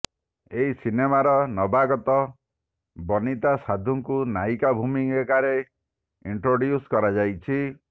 ଏହି ସିନେମାର ନବାଗତା ବନିତା ସାନ୍ଧୁଙ୍କୁ ନାୟିକା ଭୂମିକାରେ ଇଣ୍ଟ୍ରୋଡ଼୍ୟୁସ୍ କରାଯାଇଛି